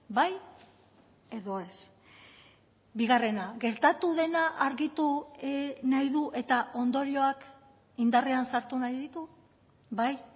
bai edo ez bigarrena gertatu dena argitu nahi du eta ondorioak indarrean sartu nahi ditu bai